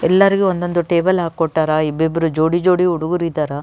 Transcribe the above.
ಎಲ್ಲರಿಗು ಒಂದೊಂದು ಟೇಬಲ್ ಹಾಕಿ ಕೊಟ್ಟಾರ ಇಬ್ಬಿಬ್ರು ಜೋಡಿ ಜೋಡಿ ಹುಡುಗೂರು ಇದ್ದಾರಾ.